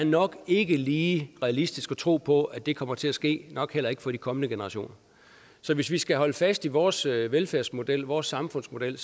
nok ikke lige er realistisk at tro på at det kommer til at ske nok heller ikke for de kommende generationer så hvis vi skal holde fast i vores velfærdsmodel vores samfundsmodel